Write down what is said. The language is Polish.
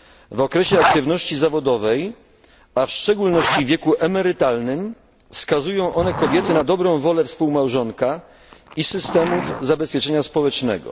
W okresie aktywności zawodowej, a w szczególności w wieku emerytalnym skazują one kobiety na dobrą wolę współmałżonka i systemów zabezpieczenia społecznego.